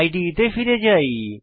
সুতরাং ইদে তে ফিরে যাই